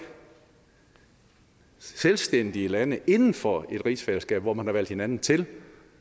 selvstændige lande inden for et rigsfællesskab hvor man har valgt hinanden til